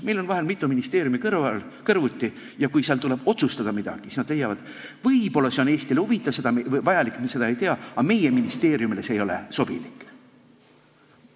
Meil on vahel mitu ministeeriumi kõrvuti ja kui tuleb midagi otsustada, siis nad leiavad, et võib-olla on see Eestile huvitav ja vajalik, seda nad ei tea, aga nende ministeeriumile ei ole see sobilik.